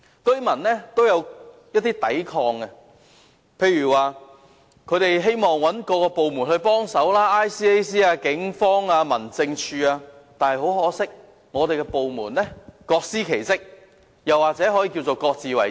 居民亦有作出一些抵抗，例如他們希望找政府部門協助，例如廉政公署、警方或民政事務處等，但很可惜，這些部門各司其職，也可以說是各自為政。